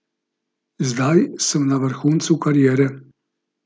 Zdaj sem na vrhuncu kariere.